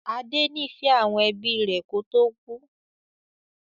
Adé nifẹ àwọn ẹbí rẹ kò tó kú.